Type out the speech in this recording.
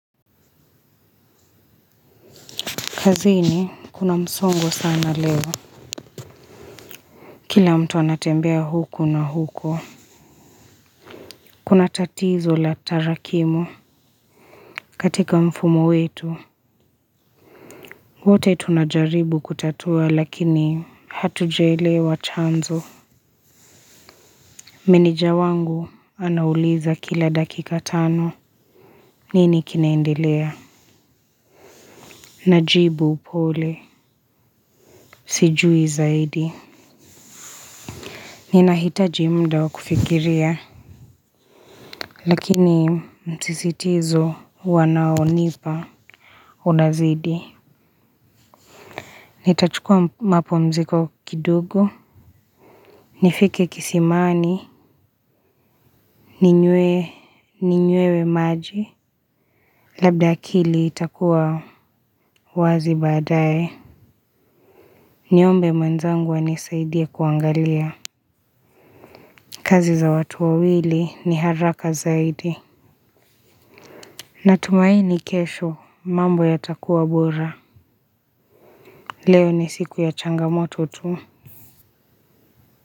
Kazini kuna msongo sana leo. Kila mtu anatembea huku na huko. Kuna tatizo la tarakimu. Katika mfumo wetu wote tunajaribu kutatua lakini hatujaelewa chanzo. Meneja wangu anauliza kila dakika tano. Nini kinaendelea. Na jibu upole. Sijui zaidi. Ninahitaji muda wakufikiria lakini msisitizo wanaonipa unazidi. Nitachukua mapumziko kidogo. Nifike kisimani ninywe maji. Labda akili itakuwa wazi baadae. Niombe mwenzangu anisaidie kuangalia kazi za watu wawili ni haraka zaidi. Natumaini kesho mambo yatakuwa bora. Leo ni siku ya changamoto tu.